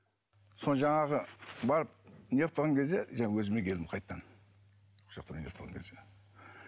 соны жаңағы барып не ғып тұрған кезде жаңағы өзіме келдім қайтадан